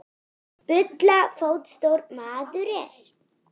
Bulla fótstór maður er.